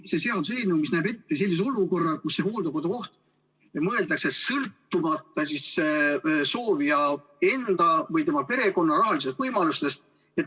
See seaduseelnõu näeb ette sellise olukorra, kus hooldekodukoht on mõeldud kõigile, sõltumata soovija enda või tema perekonna rahalistest võimalustest.